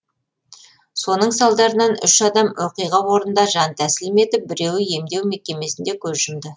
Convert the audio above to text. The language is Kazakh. соның салдарынан үш адам оқиға орнында жан тәсілім етіп біреуі емдеу мекемесінде көз жұмды